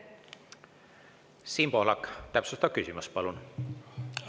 Siim Pohlak, täpsustav küsimus, palun!